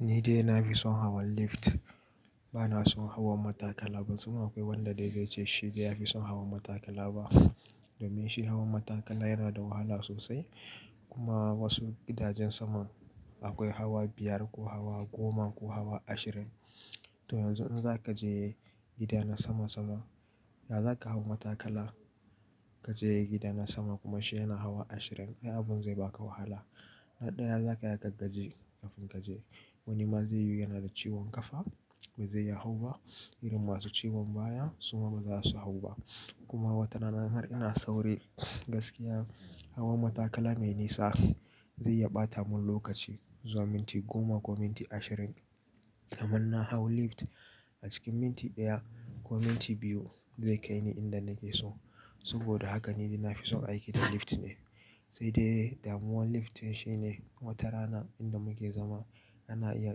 Ni dai na fi son hawan lift, ba na son hawan matakala. Kuma akwai wanda dai zai ce shi dai ya fi son hawan matakala ba. Domin shi hawan matakala yana da wahala sosai kuma a wasu gidajen sama akwai hawa biyar ko hawa goma ko hawa ashirin. To yanzu in za ka je gida na sama sama, ya za ka hau matakala ka je gida na sama kuma shi yana hawa ashirin? Ai abun zai ba ka wahala. Na ɗaya za ka yaga gaje kafin ka je. Wani ma zai yi yana da ciwon kafa, bai zai ya hau ba. Irin masu ciwon baya suma ba za su hau ba. Kuma wata rana har ina sauri gaskiya hawan matakala mai nisa, zai iya ɓata mun lokaci zuwa minti goma ko minti ashirin. Amma inna hau lift a cikin minti ɗaya ko minti biyu zai kai ni inda nake so. Saboda haka ni dai na fi son aiki da lift ne. Sai dai damuwar lift shine wata rana inda muke zama ana iya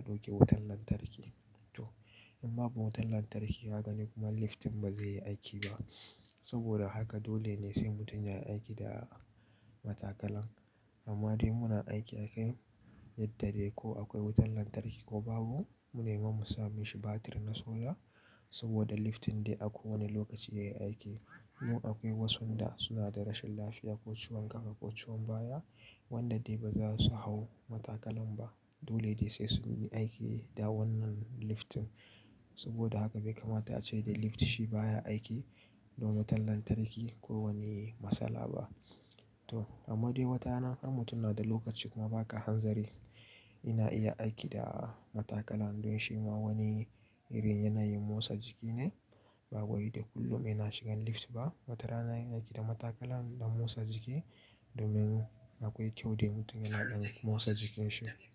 ɗauke wutan lantarki. Toh in babu wutan lantarki ka gani kuma lift din ba zai yi aiki ba. Saboda haka dole ne sai mutum ya yi aiki da matakalan. Amma dai muna aiki a kan yadda de ko akwai wutan lantarki ko babu. Mun nemi mu sa mishi batir na solar, saboda lift din dai a kowane lokaci ya yi aiki. Kuma akwai wasun da suna da rashin lafiya ko ciwon kafa ko ciwon baya wanda dai ba za su hau matakalan ba. Dole dai sai sun yi aiki da wannan lift din. Saboda haka bai kamata a ce dai lift shi baya aiki, don wutan lantarki ko wani matsala ba. Toh, amma dai wata rana har mutum na da lokaci kuma ba ka hanzari, ina iya aiki da matakala don shi ma wani irin yanayin motsa jiki ne. Ba wai dai kullum ne ina shigan lift ba, wata rana ina aiki da matakala don motsa jiki domin akwai kyau dai mutum yana ɗan motsa jikinsa.